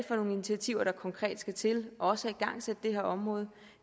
for nogle initiativer der konkret skal til også at igangsætte det her område